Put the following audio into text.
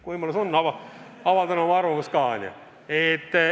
Kui võimalus on, avaldan oma arvamust ka.